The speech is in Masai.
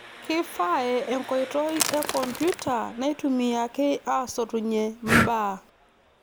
Kee5ae enkoitoi e kompiuta naitumiyaki aasotunye mbaa.